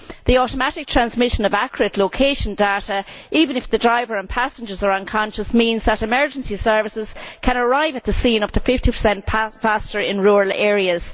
The automatic transmission of accurate location data, even if the driver and passengers are unconscious, means that emergency services can arrive at the scene up to 50 faster in rural areas.